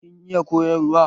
Kin iya koyarwa?